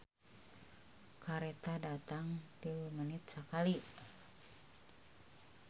"Kareta datang tilu menit sakali"